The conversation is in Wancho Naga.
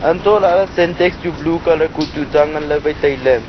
antoh lahle santaks chu blue colour kuh tuta ngan wai le taile.